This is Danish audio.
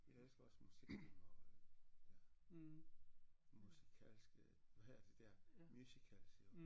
Jeg elsker også musikfilm og øh ja musikalske hvad hedder de der musicals iggå